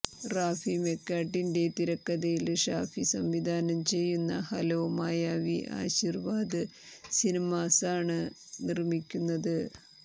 റാഫിമെക്കാര്ട്ടിന്റെ തിരക്കഥയില് ഷാഫി സംവിധാനം ചെയ്യുന്ന ഹലോ മായാവി ആശിര്വാദ് സിനിമാസാണ് നിര്മ്മിക്കുന്നത്